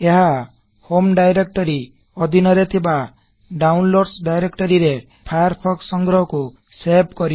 ଏହା home directory ଅଧିନରେ ଥିବା ଡାଉନଲୋଡ୍ସ ଡାଇରେକ୍ଟରୀ ରେ ଫାୟାରଫୋକ୍ସ ସଂଗ୍ରହ କୁ ସେଭ୍ କରିବ